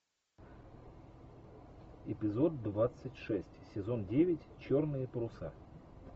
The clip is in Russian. эпизод двадцать шесть сезон девять черные паруса